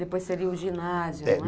Depois seria o ginásio, não é?